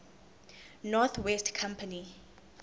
north west company